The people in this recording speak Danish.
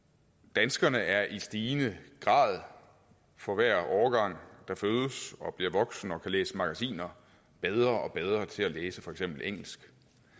danskerne er i stigende grad for hver årgang der fødes og bliver voksen og kan læse magasiner bedre og bedre til at læse for eksempel engelsk